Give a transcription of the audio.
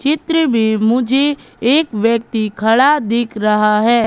चित्र में मुझे एक व्यक्ति खड़ा दिख रहा है।